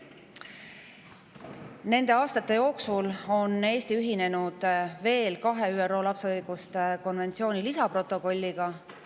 Nende aastate jooksul on Eesti ühinenud veel kahe ÜRO lapse õiguste konventsiooni lisaprotokolliga.